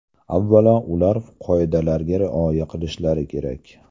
Avvalo, ular qoidalarga rioya qilishlari kerak.